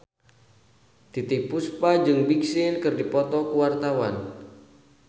Titiek Puspa jeung Big Sean keur dipoto ku wartawan